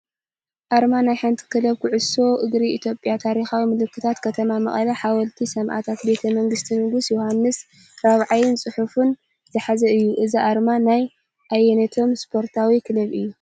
ኣርማ ናይ ሓንቲ ክለብ ኩዕሶ እግሪ ኢትዮጵያ። ታሪኻዊ ምልክታት ከተማ መቐለ፣ ሓወልቲ ሰማእታትን ቤተ መንግስቲ ንጉስ ዮውሃንስ ራብዓይን፡፡ ጽሑፍን ዝሓዘ እዩ። እዚ ኣርማ ናይ ኣየነይቲ ስፖርታዊ ክለብ እዩ?